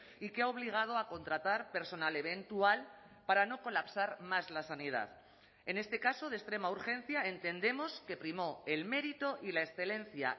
y que ha obligado a contratar personal eventual para no colapsar más la sanidad en este caso de extrema urgencia entendemos que primó el mérito y la excelencia